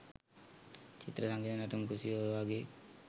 චිත්‍ර සංගීත නැටුම් කෘෂි ඔයවගේ